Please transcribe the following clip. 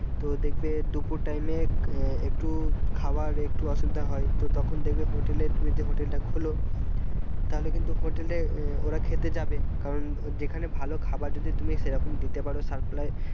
তো দেখবে দুপুর time এ আহ একটু খাবার একটু অসুবিধা হয় তো তখন দেখবে hotel এ তুমি যদি hotel টা হল তাহলে কিন্তু hotel এ ওরা খেতে যাবে কারণ যেখানে ভালো খাবার যদি তুমি সেরকম দিতে পারো supply